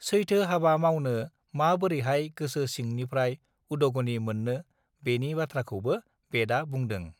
सैथो हाबा मावनो माबोरैहाय गोसो सिंन्रिफ्राय उदॊगनि मोननो बेनि बाथ्राखौबो बेदआ बुंदो